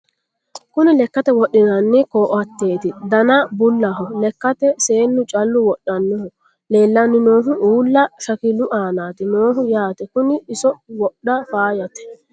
kuni lekkate wodhinanni koatete dana bullaho lekkate seennu callu wodhannoho leellanni noohu uulla shakilu aanati noohu yaate kuni iso wodha faayate